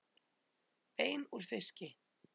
Bein úr fiski